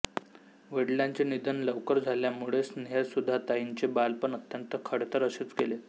वडिलांचे निधन लवकर झाल्यामुळे स्नेहसुधाताईंचे बालपण अत्यंत खडतर असेच गेले